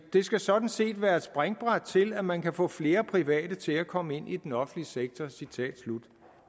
det skal sådan set være et springbræt til at man kan få flere private til at komme ind i den offentlige sektor